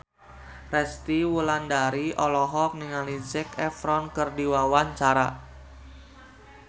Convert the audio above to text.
Resty Wulandari olohok ningali Zac Efron keur diwawancara